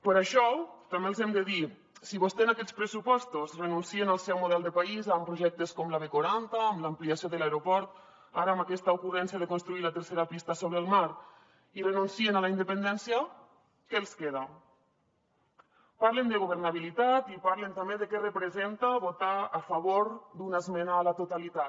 per això també els hem de dir si vostès en aquests pressupostos renuncien al seu model de país amb projectes com la b quaranta amb l’ampliació de l’aeroport ara amb aquesta ocurrència de construir la tercera pista sobre el mar i renuncien a la independència què els queda parlen de governabilitat i parlen també de què representa votar a favor d’una esmena a la totalitat